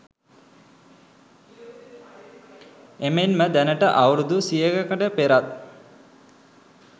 එමෙන්ම දැනට අවුරැදු සියයකට පෙරත්